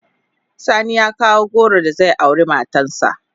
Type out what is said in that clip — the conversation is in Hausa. Sani ya kawo goro da zai aure matan sa.